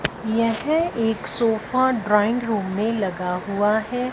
यह एक sofa drawing room में लगा हुआ है।